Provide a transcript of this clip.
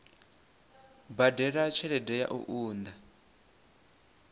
badela tshelede ya u unḓa